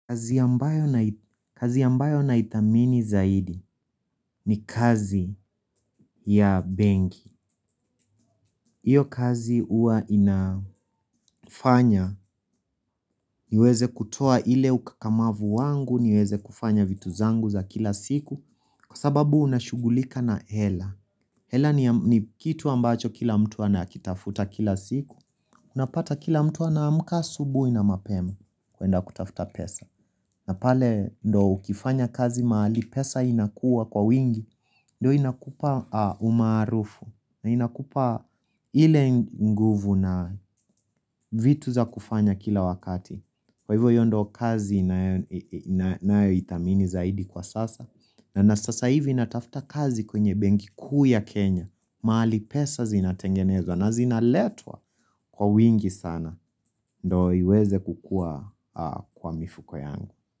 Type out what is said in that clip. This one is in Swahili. Kazi ambayo na ithamini zaidi ni kazi ya benki Iyo kazi huwa inafanya niweze kutoa ile ukakamavu wangu niweze kufanya vitu zangu za kila siku kwa sababu unashugulika na hela. Hela ni kitu ambacho kila mtu anakitafuta kila siku Unapata kila mtu ana amka asubuhi na mapema kwenda kutafuta pesa na pale ndio ukifanya kazi mahali pesa inakuwa kwa wingi Ndyo inakupa umaarufu na inakupa ile nguvu na vitu za kufanya kila wakati Kwa hivyo ndio kazi Ninayoithamini zaidi kwa sasa na sasa hivi inatafuta kazi kwenye benki kuu ya Kenya mahali pesa zinatengenezwa na zinaletwa kwa wingi sana Ndiyo iweze kukuwa kwa mifuko yangu.